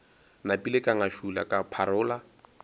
napile ka ngašula ka pharola